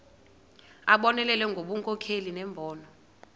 abonelele ngobunkokheli nembono